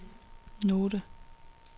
note